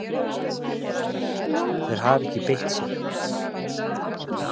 Þeir hafa ekki beitt sér